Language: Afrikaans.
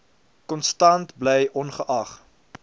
konstant bly ongeag